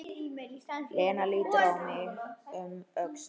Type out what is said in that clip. Lena lítur um öxl: Hvað?